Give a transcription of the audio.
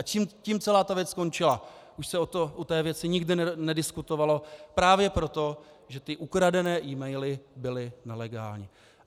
A tím celá věc skončila, už se o té věci nikdy nediskutovalo právě proto, že ty ukradené e-maily byly nelegální.